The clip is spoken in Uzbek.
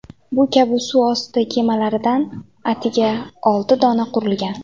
Bu kabi suv osti kemalaridan atiga olti dona qurilgan.